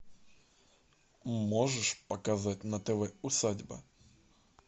можешь показать на тв усадьба